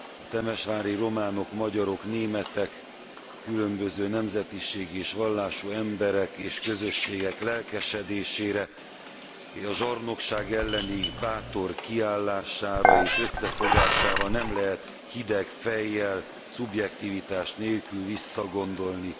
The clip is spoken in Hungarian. A temesvári románok, magyarok, németek, különböző nemzetiségű és vallású emberek és közösségek lelkesedésére, a zsarnokság elleni bátor kiállására és összefogására nem lehet hideg fejjel, szubjektivitás nélkül visszagondolni.